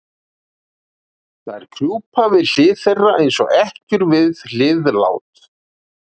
Þær krjúpa við hlið þeirra, eins og ekkjur við hlið lát